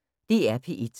DR P1